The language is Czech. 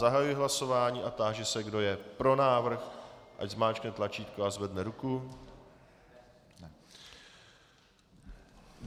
Zahajuji hlasování a táži se, kdo je pro návrh, ať zmáčkne tlačítko a zvedne ruku.